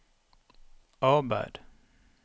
arbeid